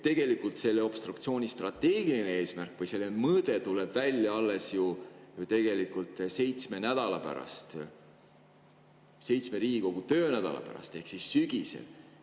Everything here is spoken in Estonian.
Tegelikult selle obstruktsiooni strateegiline eesmärk või selle mõõde tuleb välja alles ju seitsme nädala pärast, seitsme Riigikogu töönädala pärast ehk sügisel.